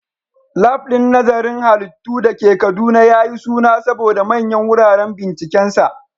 Lab din nazarin halittu da ke Kaduna ya yi suna saboda manyan wuraren bincikensa.